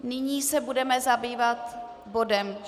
Nyní se budeme zabývat bodem